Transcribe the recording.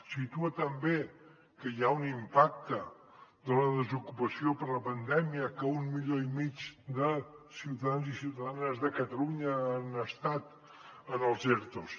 situa també que hi ha un impacte de la desocupació per la pandèmia que un milió i mig de ciutadans i ciutadanes de catalunya han estat en els ertos